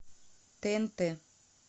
тнт